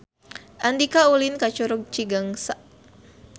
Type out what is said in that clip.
Andika ulin ka Curug Cigangsa